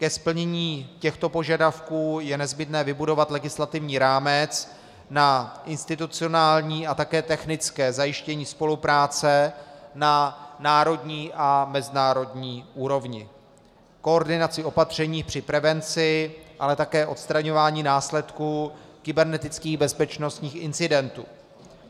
Ke splnění těchto požadavků je nezbytné vybudovat legislativní rámec na institucionální a také technické zajištění spolupráce na národní a mezinárodní úrovni, koordinaci opatření při prevenci, ale také odstraňování následků kybernetických bezpečnostních incidentů.